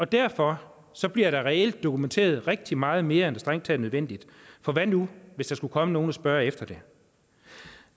derfor bliver der reelt dokumenteret rigtig meget mere end det strengt taget er nødvendigt for hvad nu hvis der skulle komme nogen og spørge efter det